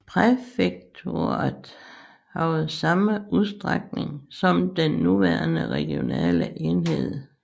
Præfekturet havde samme udstrækning som den nuværende regionale enhed